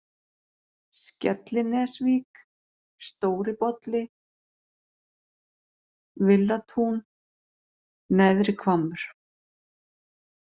Skellinesvík, Stóri-Bolli, Villatún, Neðri-Hvammur